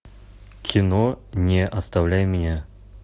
кино не оставляй меня